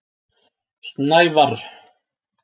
Snævarr